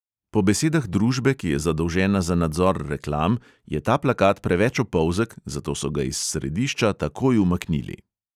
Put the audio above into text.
Po besedah družbe, ki je zadolžena za nadzor reklam, je ta plakat preveč opolzek, zato so ga iz središča takoj umaknili.